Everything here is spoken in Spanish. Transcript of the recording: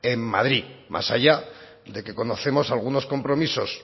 en madrid más allá de que conocemos algunos compromisos